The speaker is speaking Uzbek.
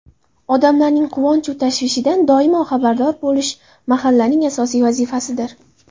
Odamlarning quvonchu tashvishidan doimo xabardor bo‘lish mahallaning asosiy vazifasidir.